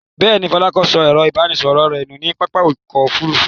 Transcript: Bẹ́ẹ̀ ni, Fọlákẹ́ sọ ẹ̀rọ-ìbánisọ̀rọ̀ rẹ̀ nù ní pápá ọkọ̀-òfurufú.